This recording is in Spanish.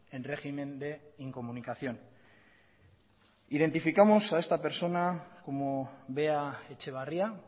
en régimen de incomunicación identificamos a esta persona como bea etxebarria